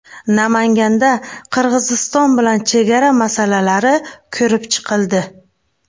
Namanganda Qirg‘iziston bilan chegara masalalari ko‘rib chiqildi.